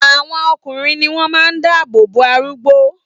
Àwọn ọkùnrin ní wón máa ń dáàbò bò àdúgbò